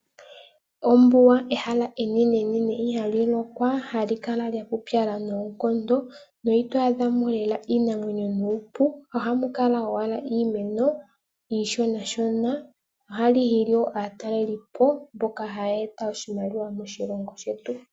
Ombuga ehala enene nene ihali lokwa. Ohali kala lyaputsala noonkondo na ito adha mo lela iinamwenyo nuupu ohamu kala owala iimeno iishona shona. ohali hili woo aataleli po mboka haya eta iimaliwa moshilongo shetu.